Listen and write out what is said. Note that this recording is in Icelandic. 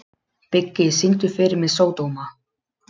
Biggi, syngdu fyrir mig „Sódóma“.